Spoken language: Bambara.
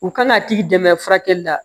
U kan ka t'i dɛmɛ furakɛli la